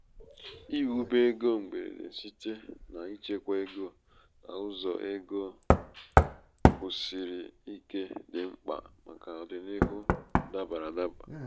iwube ego mgberede site n'ichekwa ego n'ụzọ ego n'ụzọ kwusiri ike dị mkpa màkà ọdịnihu dabara adaba.